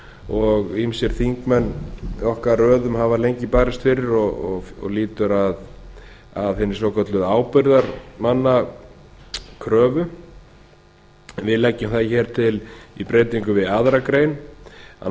og ýmsir þingmenn í okkar röðum hafa lengi barist fyrir og lýtur að hinni svokölluðu ábyrgðarmannakröfu við leggjum það hér til í breytingum við aðra grein að